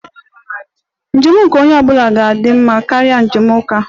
Njem nke onye ọ bụla ga-adị mma karịa njem uka